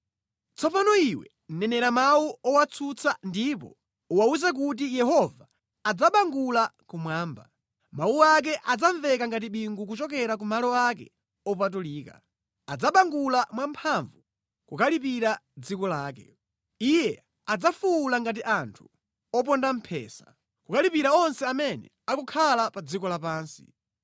“Tsopano iwe nenera mawu owatsutsa ndipo uwawuze kuti, “ ‘Yehova adzabangula kumwamba; mawu ake adzamveka ngati bingu kuchokera ku malo ake opatulika. Adzabangula mwamphamvu kukalipira dziko lake. Iye adzafuwula ngati anthu oponda mphesa, kukalipira onse amene akukhala pa dziko lapansi.